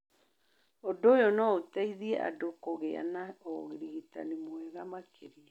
Ũndũ ũyũ no ũteithie andũ kũgĩa na ũrigitani mwega makĩria.